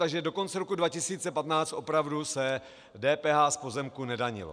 Takže do konce roku 2015 opravdu se DPH z pozemku nedanilo.